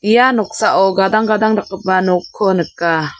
ia noksao gadang gadang dakgipa nokko nika.